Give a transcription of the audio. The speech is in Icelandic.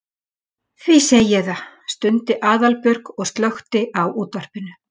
Því segi ég það. stundi Aðalbjörg og slökkti á útvarpinu.